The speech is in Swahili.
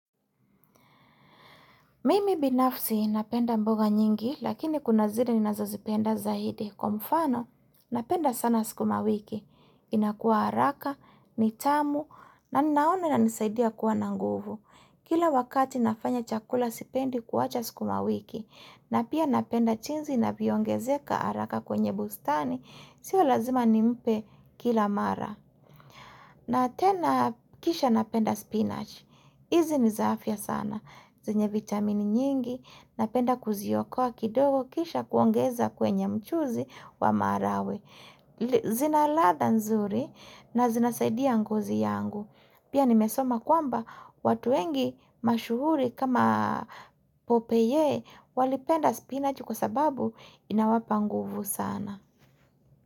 Mimi binafsi napenda mboga nyingi, lakini kuna zile ninazozipenda zaidi. Kwa mfano, napenda sana sikuma wiki. Inakuwa haraka, nitamu, na ninaona inanisaidia kuwa nanguvu. Kila wakati nafanya chakula sipendi kuwacha sikuma wiki. Na pia napenda jinsi inavyoongezeka haraka kwenye bustani. Sio lazima nimpe kila mara. Na tena kisha napenda spinach. Hizi ni za afya sana. Zenye vitamini nyingi napenda kuziokoa kidogo kisha kuongeza kwenye mchuzi wa maharagwe. Zina ladha nzuri na zinasaidia ngozi yangu. Pia nimesoma kwamba watu wengi mashuhuri kama popeye walipenda spinach kwa sababu inawapa nguvu sana.